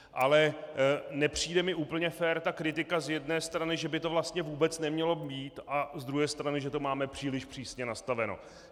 Ale nepřijde mi úplně fér ta kritika z jedné strany, že by to vlastně vůbec nemělo být, a z druhé strany, že to máme příliš přísně nastaveno.